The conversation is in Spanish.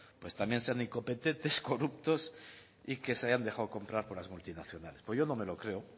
pues también sean incompetentes corruptos y que se hayan dejado comprar por las multinacionales pues yo no me lo creo